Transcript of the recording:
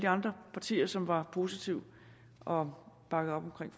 andre partier som var positive og bakkede op omkring